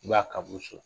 I b'a kabo so